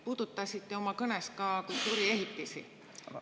Puudutasite oma kõnes ka kultuuriehitisi.